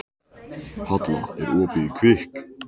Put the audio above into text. Halla, er opið í Kvikk?